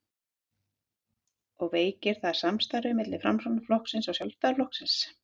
og veikir það samstarfið milli Framsóknarflokksins og Sjálfstæðisflokksins?